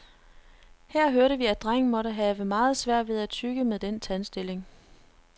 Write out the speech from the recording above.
Her hørte vi, at drengen måtte have meget svært ved at tygge med den tandstilling.